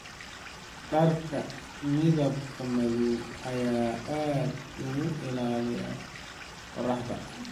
Dharka midabka madow ayaa aad uga ilaalinaya qorraxda.